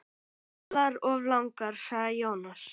Allar of langar, sagði Jónas.